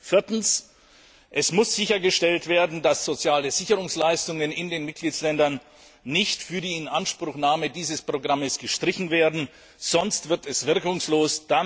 Viertens Es muss sichergestellt werden, dass soziale Sicherungsleistungen in den Mitgliedstaaten nicht für die Inanspruchnahme dieses Programms gestrichen werden, sonst wird es wirkungslos.